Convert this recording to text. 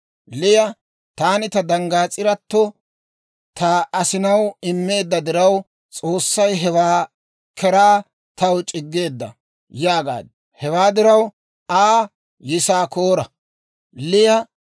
Liya, «Taani ta danggaas'irato ta asinaw immeedda diraw, S'oossay hewaa keraa taw c'iggeedda» yaagaaddu. Hewaa diraw Aa Yisaakoora gaade suntsaaddu.